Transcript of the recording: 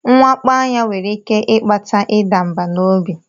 Mwakpo anya nwere ike ịkpata ịda mbà n'obi.